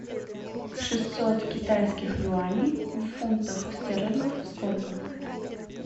шестьсот китайских юаней в фунтах стерлингов сколько